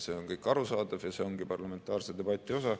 See on kõik arusaadav ja see ongi parlamentaarse debati osa.